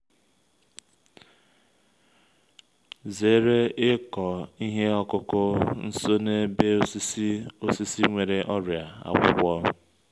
zere ịkọ ihe ọkụkụ nso n’ebe osisi osisi nwere ọrịa akwụkwọ